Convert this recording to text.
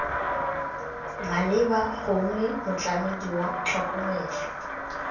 maleba gongwe motlamedi wa tlhokomelo